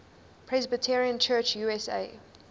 presbyterian church usa